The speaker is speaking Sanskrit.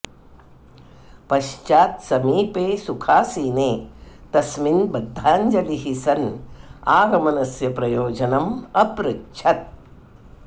पश्चात् समीपे सुखासीने तस्मिन् बद्धाञ्जलिः सन् आगमनस्य प्रयोजनं अपृच्छत्